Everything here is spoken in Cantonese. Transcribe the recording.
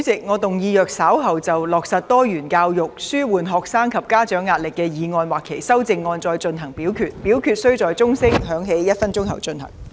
主席，我動議若稍後就"落實多元教育紓緩學生及家長壓力"所提出的議案或修正案再進行點名表決，表決須在鐘聲響起1分鐘後進行。